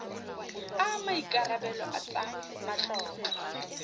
a maikarebelo a tsa matlotlo